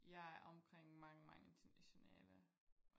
jeg er omkring mange mange internationale